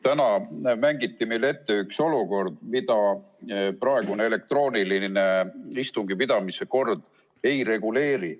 Täna mängiti meile ette üks olukord, mida praegune elektrooniline istungi pidamise kord ei reguleeri.